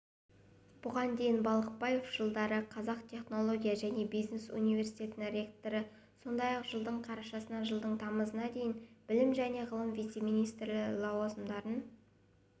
бұған дейін балықбаев жылдары қазақ технология және бизнес университетінің ректоры сондай-ақ жылдың қарашасынан жылдың тамызына дейін білім және ғылым вице-министрі лауазымындарын